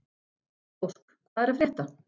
Ósk, hvað er að frétta?